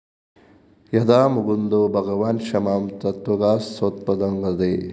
യദാ മുകുന്ദോ ഭഗവാന്‍ ക്ഷ്മാം ത്യക്ത്വാ സ്വപദംഗതഃ